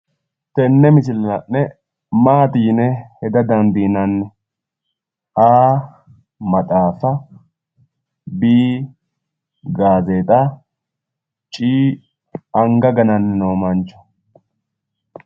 Tenne misile la'ne Maati yine heda dandiinanni?A, maxaafa B, gazeexa C,anga gananno mancho.